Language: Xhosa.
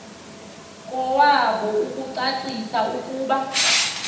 kowabo ukucacisa ukuba